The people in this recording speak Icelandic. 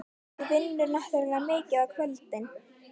Þú vinnur náttúrlega mikið á kvöldin.